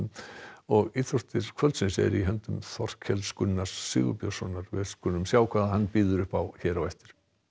og íþróttir kvöldsins eru í höndum Þorkels Gunnar Sigurbjörnssonar við skulum sjá hvað hann býður upp á hér á eftir